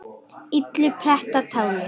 illu pretta táli.